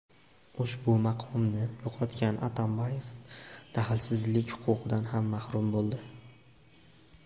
Ushbu maqomni yo‘qotgan Atambayev daxlsizlik huquqidan ham mahrum bo‘ldi.